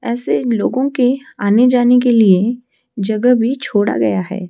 ऐसे लोगो के आने-जाने के लिए जगह भी छोड़ा गया है।